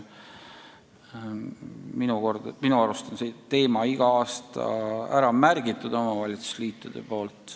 Minu arust on omavalitsusliidud selle teema iga aasta ära märkinud.